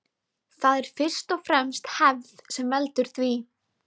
Það er fyrst og fremst hefð sem veldur því.